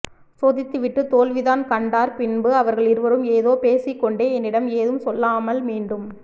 சோதித்து விட்டு தோல்விதான் கண்டார் பின்பு அவர்கள் இருவரும் ஏதோ பேசிக் கொண்டே என்னிடம் ஏதும் சொல்லாமல் மீண்டும்